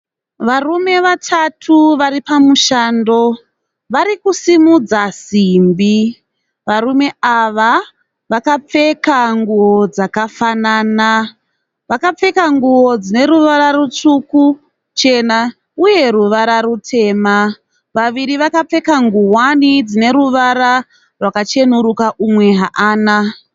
Varume vatatu vari pamushando, vari kusimudza simbi. Varume ava vakapfeka nguwo dzakafanana. Vakapfeka nguwo dzine ruvara rutsvuku, chena uye ruvara rutema. Vaviri vakapfeka nguwani dzine ruvara rwakacheneruka umwe haana.